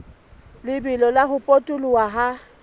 lebelo la ho potoloha ha